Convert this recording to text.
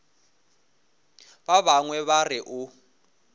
ba bangwe ba re o